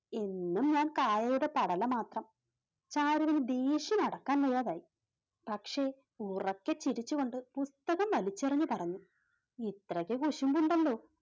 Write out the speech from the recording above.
എന്നും ഞാൻ കായയുടെ പടല മാത്രം ചാരുവിനു ദേഷ്യം അടക്കാൻ വയ്യാതായി. പക്ഷേ ഉറക്കെ ചിരിച്ചുകൊണ്ട് പുസ്തകം വലിച്ചെറിഞ്ഞു പറഞ്ഞു ഇത്രയ്ക്ക് കുശുമ്പ് ഉണ്ടല്ലോ